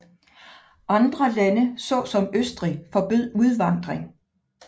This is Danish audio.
Andre lande såsom Østrig forbød udvandring